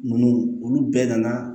Ninnu olu bɛɛ nana